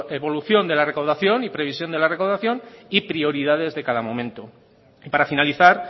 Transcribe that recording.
evolución de la recaudación y previsión de la recaudación y prioridades de cada momento y para finalizar